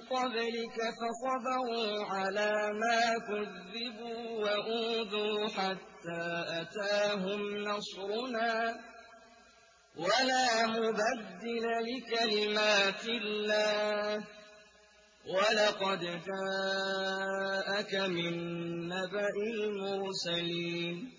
قَبْلِكَ فَصَبَرُوا عَلَىٰ مَا كُذِّبُوا وَأُوذُوا حَتَّىٰ أَتَاهُمْ نَصْرُنَا ۚ وَلَا مُبَدِّلَ لِكَلِمَاتِ اللَّهِ ۚ وَلَقَدْ جَاءَكَ مِن نَّبَإِ الْمُرْسَلِينَ